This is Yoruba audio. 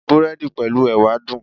Búrẹ́dì pẹ̀lú Ẹ̀wà dùn.